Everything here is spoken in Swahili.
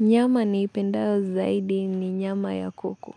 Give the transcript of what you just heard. Nyama niipendayo zaidi ni nyama ya kuku.